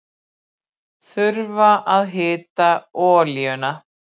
Þurfa að hita olíuna